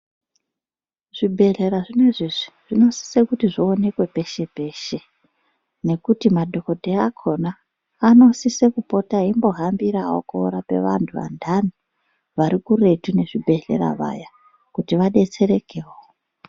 Zvibhedhlera zvinozvi zvinosisa kuti zvionekwe peshe peshe nekuti madhokodheya akona anosisa eipota eihambirawo antu andani vari kuretu nezvibhedhlera Vaya kuti vadetserekewo.